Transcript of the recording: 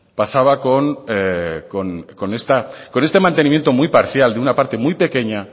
pasaba con este mantenimiento muy parcial de una parte muy pequeña